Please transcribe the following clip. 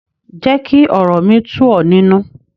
Jẹ́ kí ọ̀rọ̀ mi tú ọ̀ nínu.